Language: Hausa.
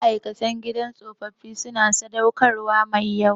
Ma'aikatan gidan tsofaffi suna sadaukarwa mai yawa